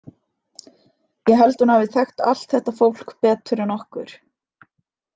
Ég held að hún hafi þekkt allt þetta fólk betur en okkur.